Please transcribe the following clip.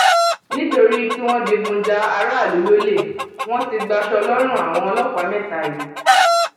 nítorí tí wọn digun ja aráàlú lọlẹ wọn ti gbaṣọ lọrùn àwọn ọlọpàá mẹta yìí